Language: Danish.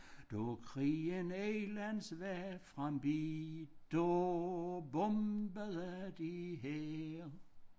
Da ellers var forbi da bombede de her